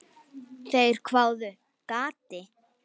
Þeir hváðu: Gati?